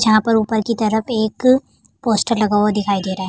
झां पर ऊपर की तरफ एक पोस्टर लगा हुआ दिखाई दे रहा है।